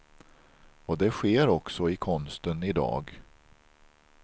Och det sker också i konsten i dag.